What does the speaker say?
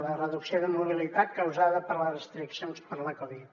la reducció de mobilitat causada per les restriccions per la covid